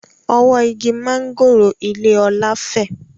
Ọwọ́ igi mángòrò ilé Ọlá fẹ́